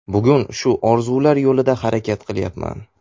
Bugun shu orzular yo‘lida harakat qilyapman”.